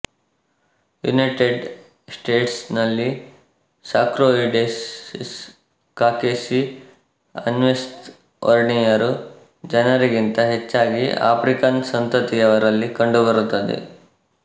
United States ನಲ್ಲಿ sarcoidosis ಕಾಕೇಸಿಅನ್ಶ್ವೇತ ವರ್ಣೀಯರು ಜನರಿಗಿಂತ ಹೆಚ್ಚಾಗಿ ಆಫ್ರಿಕನ್ ಸಂತತಿಯವರಲ್ಲಿ ಕಂಡುಬರುತ್ತದೆ